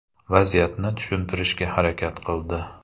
Vaziyatni tushuntirishga harakat qildi.